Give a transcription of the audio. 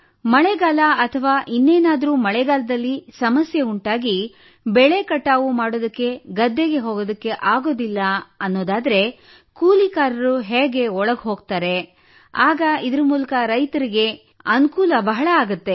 ಮಳೆಗಾಲ ಅಥವಾ ಇನ್ನೇನಾದರೂ ಮಳೆಗಾಲದಲ್ಲಿ ಸಮಸ್ಯೆ ಉಂಟಾಗಿ ಬೆಳೆ ಕಟಾವು ಮಾಡಲು ಗದ್ದೆಗೆ ಹೋಗಲು ಆಗುತ್ತಿಲ್ಲ ಎಂದಾದರೆ ಕೂಲಿಕಾರರು ಹೇಗೆ ಒಳಗೆ ಹೋಗುತ್ತಾರೆ ಆಗ ಇದರ ಮೂಲಕ ರೈತರಿಗೆ ಬಹಳ ಅನುಕೂಲವಾಗಲಿದೆ